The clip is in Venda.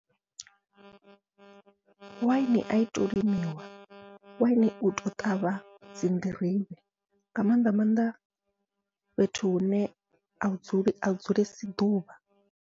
Waini ai tou limiwa wine utou ṱavha dzi nḓirivhe, nga maanḓa maanḓa fhethu hune a dzuli a dzulesi ḓuvha.